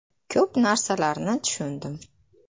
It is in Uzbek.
Ko‘p narsalarni tushundim.